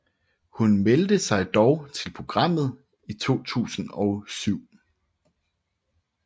Hun meldte sig dog til programmet i 2007